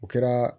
O kɛra